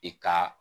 I ka